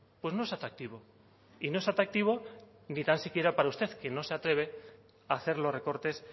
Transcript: pues no es atractivo y no es atractivo ni tan siquiera para usted que no se atreve a hacer los recortes